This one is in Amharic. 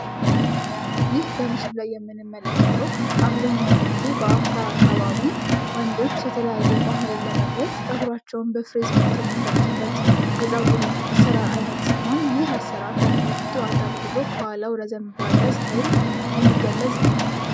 ይህ በምስሉ ላይ የምንመለከተው አብዛኛውን ጊዜ በአፋር ክልል ወንዶች ባህላቸውን ለመግለፅ ፀጉራቸውን የሚፈርዙበት የፀጉር አሰራር አይነት ሲሆን ይህ የፀጉር አሰራር ከፊት ለፊት አጠር ብሎ ከኋላው ረዘም ብሎ የሚገለፅ ነው ።